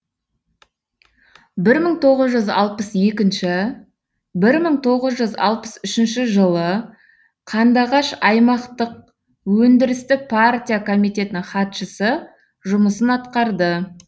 бір мың тоғыз жүз алпыс екінші бір мың тоғыз жүз алпыс үшінші жылы қандыағаш аймақтық өндірістік партия комитетінің хатшысы жұмысын атқарды